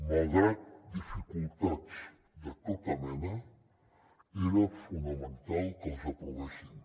malgrat dificultats de tota mena era fonamental que els aprovéssim